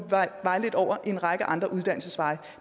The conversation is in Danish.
vejledt over en række andre uddannelsesveje